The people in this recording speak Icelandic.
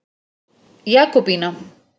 Jakobína